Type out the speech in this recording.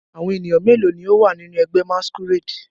Awọn eniyan melo ni o wa ninu ẹgbẹ masquerade?